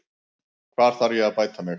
Hvar þarf ég að bæta mig?